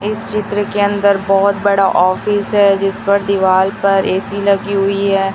इस चित्र के अंदर बहुत बड़ा ऑफिस है जिस पर दीवाल पर ऐ_सी लगी हुई है।